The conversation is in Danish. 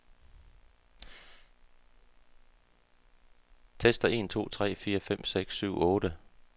Tester en to tre fire fem seks syv otte.